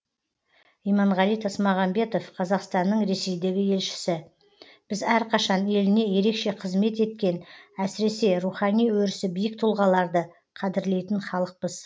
иманғали тасмағамбетов қазақстанның ресейдегі елшісі біз әрқашан еліне ерекше қызмет еткен әсіресе рухани өрісі биік тұлғаларды қадірлейтін халықпыз